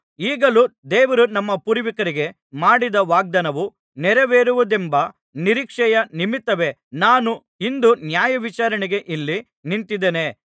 ಈಗಲೂ ದೇವರು ನಮ್ಮ ಪೂರ್ವಿಕರಿಗೆ ಮಾಡಿದ ವಾಗ್ದಾನವು ನೆರವೇರುವುದೆಂಬ ನಿರೀಕ್ಷೆಯ ನಿಮಿತ್ತವೇ ನಾನು ಇಂದು ನ್ಯಾಯವಿಚಾರಣೆಗೆ ಇಲ್ಲಿ ನಿಂತಿದ್ದೇನೆ